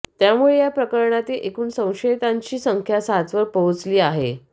त्यामुळे या प्रकरणातील एकूण संशयितांची संख्या सातवर पोहोचली आहे